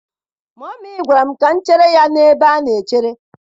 Mummy gwara m ka m chere ya n'ebe a na-echere.